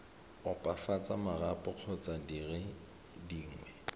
opafatsa marapo kgotsa dire dingwe